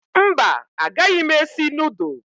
Mba, agaghị m esi nudụ